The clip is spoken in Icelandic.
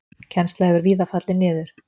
Kennsla hefur víða fallið niður.